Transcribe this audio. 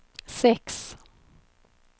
sex